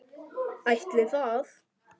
Ætli það.